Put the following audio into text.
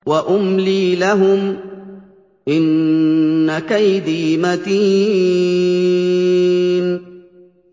وَأُمْلِي لَهُمْ ۚ إِنَّ كَيْدِي مَتِينٌ